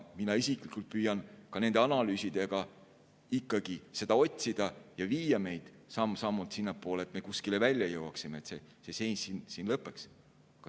Mina isiklikult püüan ka nende analüüsidega ikkagi seda otsida ja viia meid samm-sammult sinnapoole, et me kuskile välja jõuaksime, et see seis siin lõpeks.